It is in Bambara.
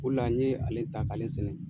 O le la n ye ale ta k'ale sɛnɛ.